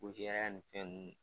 Ko jɛya nin fɛn ninnu